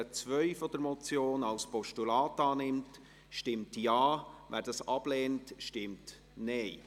Wer die Ziffer 2 der Motion als Postulat annehmen will, stimmt Ja, wer dies ablehnt, stimmt Nein.